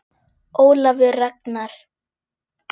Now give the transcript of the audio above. Ólafur Ragnar.